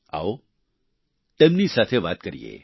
આવો તેમની સાથે વાત કરીએ